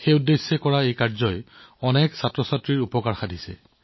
বহু সংখ্যক শিক্ষাৰ্থীয়ে ইয়াৰ সুবিধা লাভ কৰা দেখি তেওঁ সুখী হৈছে